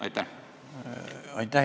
Aitäh!